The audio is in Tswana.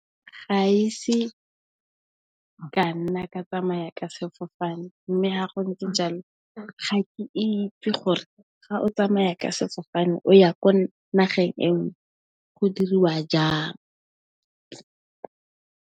Ga ise ka nna ka tsamaya ka sefofane mme, ga go ntse jalo ga ke itse gore ga o tsamaya ka sefofane o ya ko nageng e nngwe go diriwa jang.